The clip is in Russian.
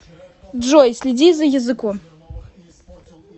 джой следи за языком